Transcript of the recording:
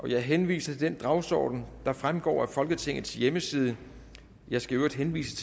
jeg henviser til den dagsorden der fremgår af folketingets hjemmeside jeg skal i øvrigt henvise